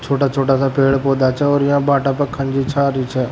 छोटा छोटा सा पेड़ पौधा से और यहां भाटे पर --